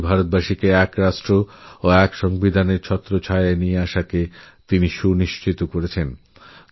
কোটি কোটি ভারতবাসীকে এক রাষ্ট্র এক সংবিধানএর ছত্রছায়ায়আনা সুনিশ্চিত করেছিলেন